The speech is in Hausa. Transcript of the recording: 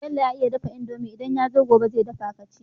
Bello ya iya dafa indomie idan yazo gobe ze dafa kaci